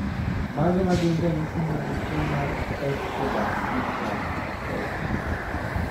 Mage magin ranyisi mag tuo mar Escobar syndrome, type B?